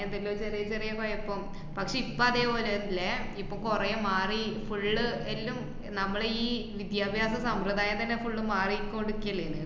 എന്തെല്ലോ ചെറിയ ചെറിയ കോഴപ്പം പക്ഷേ ഇപ്പോ അതേ പോലെ അല്ല ഇപ്പോ കൊറേ മാറി full ള്ള് എല്ലം നമ്മളെ ഈ വിദ്യാഭ്യാസ സമ്പ്രദായം തന്നെ full ഉം മാറിക്കൊണ്ട്ക്ക്യേല്ല്ന്.